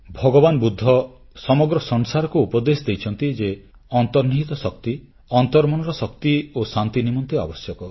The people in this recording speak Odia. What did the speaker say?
ଭଗବାନ ବୁଦ୍ଧ ସମଗ୍ର ସଂସାରକୁ ଉପଦେଶ ଦେଇଛନ୍ତି ଯେ ଅନ୍ତର୍ନିହିତ ଶକ୍ତି ଅନ୍ତର୍ମନର ଶକ୍ତି ଓ ଶାନ୍ତି ନିମନ୍ତେ ଆବଶ୍ୟକ